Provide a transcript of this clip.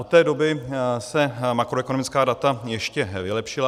Od té doby se makroekonomická data ještě vylepšila.